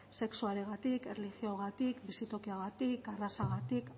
sexuarengatik erlijioagatik bizitokiagatik arrazagatik